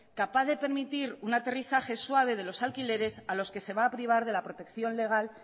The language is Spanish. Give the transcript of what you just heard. capaz de permitir un aterrizaje suave de los alquileres a los que se va a privar de la protección legal